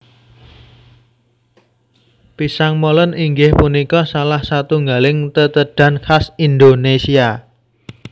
Pisang Molen inggih punika salah satunggaling tetedhan khas Indonésia